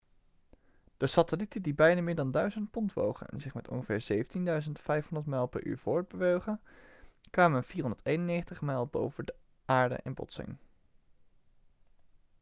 de satellieten die beide meer dan 1.000 pond wogen en zich met ongeveer 17.500 mijl per uur voortbewogen kwamen 491 mijl boven aarde in botsing